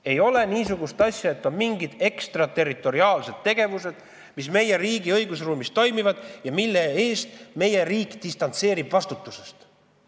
Ei ole nii, et on mingid ekstra territoriaalsed tegevused, mis meie riigi õigusruumis toimuvad ja mille puhul meie riik distantseerub vastutusest.